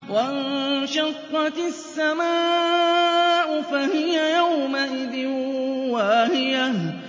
وَانشَقَّتِ السَّمَاءُ فَهِيَ يَوْمَئِذٍ وَاهِيَةٌ